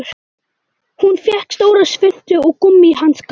Hún fékk stóra svuntu og gúmmíhanska.